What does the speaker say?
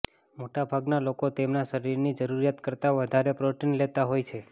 મોટા ભાગના લોકો તેમના શરીરની જરૂરિયાત કરતાં વધારે પ્રોટીન લેતા હોય છે